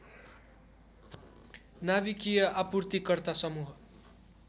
नाभिकीय आपूर्तिकर्ता समूह